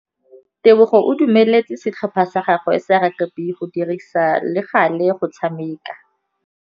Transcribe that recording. Tebogô o dumeletse setlhopha sa gagwe sa rakabi go dirisa le galê go tshameka.